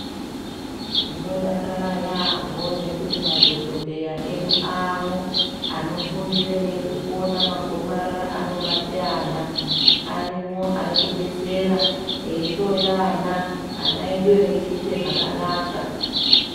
Tinodakara yambo ngekuti madhokodheya edu amwo anofundira nekuona nezvemagomarara anobate ana arinwo arikudetsera eihloya ana, ana edu achiite zvakanaka.